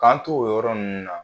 K'an to o yɔrɔ nunnu na